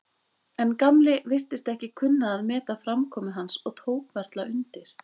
En Gamli virtist ekki kunna að meta framkomu hans og tók varla undir.